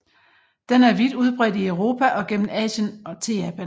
Den er vidt udbredt i Europa og gennem Asien til Japan